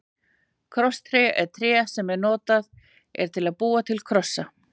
Krosstré er tré sem notað er til að búa til krossa.